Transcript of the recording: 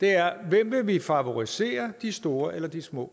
er hvem vi vil favorisere de store eller små